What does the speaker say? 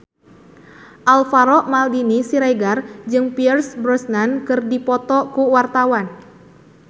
Alvaro Maldini Siregar jeung Pierce Brosnan keur dipoto ku wartawan